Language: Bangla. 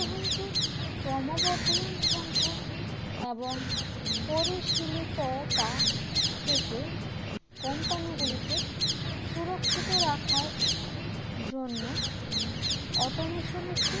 ক্রমবর্ধমান সংখ্যা এবং পরিশীলিততা থেকে company গুলিকে সুরক্ষিত রাখার জন্য automation একটি